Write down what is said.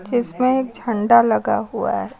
इसमें झंडा लगा हुआ है।